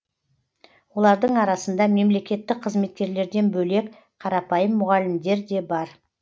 олардың арасында мемлекеттік қызметкерлерден бөлек қарапайым мұғалімдер де бар